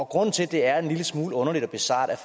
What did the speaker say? grunden til at det er en lille smule underligt og bizart er